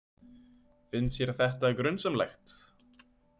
Fannst þér þetta grunsamlegt?